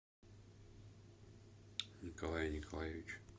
николая николаевича